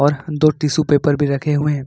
पर दो tissue paper भी रखे हुए हैं।